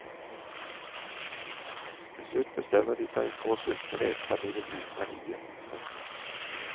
Til slutt bestemmer de seg for å sulte revefamilien ut fra hiet. punktum